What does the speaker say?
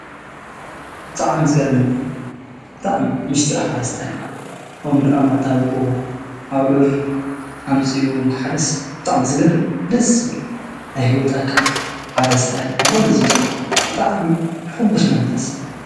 እጥዓም ዝገርመኒይ ጥዕም ምሽጢሪ ሓረስታይ ኦምኑ ኣምማጣዊኦሁ ኣብዕር ኣምጺኡሓርስ ጣዕም ዝገርብ ደስብል ኣይ ሕይወት ኣካል ሓረስታይ ንክሆሉ ዝጥውር ብጣዕሚ ሕጉስ መንፈስ።